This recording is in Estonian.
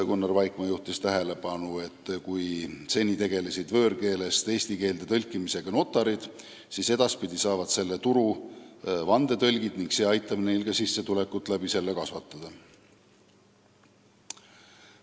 Gunnar Vaikmaa juhtis tähelepanu, et kui seni tegelesid võõrkeelest eesti keelde tõlkimisega notarid, siis edaspidi saavad selle turu endale vandetõlgid ning see aitab neil ka sissetulekut kasvatada.